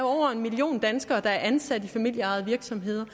over en million danskere der er ansat i familieejede virksomheder